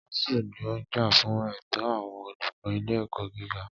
ASUU ní ó ń jà fún ẹ̀tọ́ àwọn olùkọ́ ilé ẹ̀kọ́ gíga.